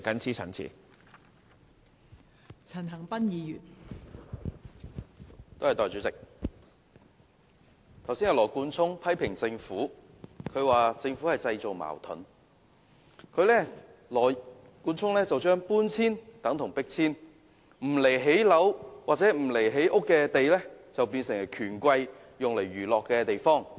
代理主席，羅冠聰議員剛才批評政府製造矛盾，他將搬遷說成是迫遷，將並非用作興建房屋的土地說成是不顧基層權益的權貴用來娛樂的地方。